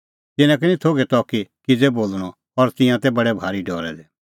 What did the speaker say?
तिन्नां का निं थोघै त कि किज़ै बोल़णअ और तिंयां तै बडै भारी डरै दै